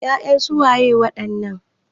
Ya'yan su waye wadannan?